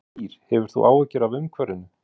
Kristín Ýr: Hefur þú áhyggjur af umhverfinu?